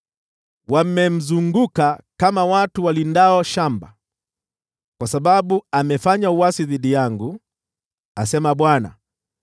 Wamemzunguka kama watu walindao shamba, kwa sababu amefanya uasi dhidi yangu,’ ” asema Bwana .